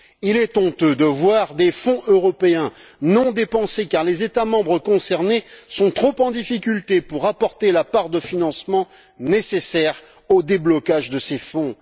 Il est honteux de voir des Fonds européens non dépensés car les États membres concernés sont trop en difficulté pour apporter la part de financement nécessaire au déblocage de ces fonds.